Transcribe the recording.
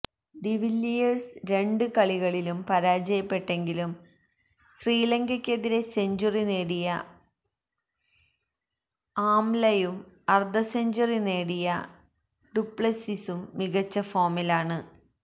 de Villiers രണ്ട് കളികളിലും പരാജയപ്പെട്ടെങ്കിലും ശ്രീലങ്കയ്ക്കെതിരെ സെഞ്ചുറി നേടിയ ആംലയും അര്ദ്ധസെഞ്ചുറി നേടിയ ഡുപ്ലെസിസും മികച്ച ഫോമിലാണ്